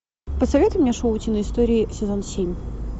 посоветуй мне шоу утиные истории сезон семь